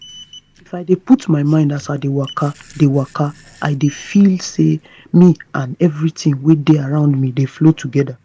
if i dey put mind as i dey waka dey waka i dey feel say me and everything we dey around me dey flow together.